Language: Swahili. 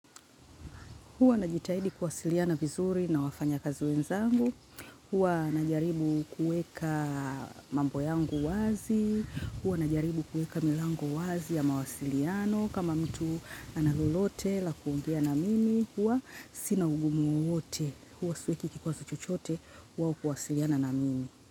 Huwa ninajitahidi kuwasiliana vizuri na wafanyakazi wenzangu. Huwa ninajaribu kuweka mambo yangu wazi. Huwa ninajaribu kuweka milango wazi ya mawasiliano. Kama mtu ana lolote la kuongea na mimi. Huwa sina ugumu wowote. Huwa siweki kikwazo chochote. Kwao kuwasiliana na mimi.